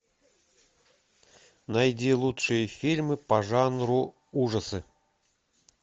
найди лучшие фильмы по жанру ужасы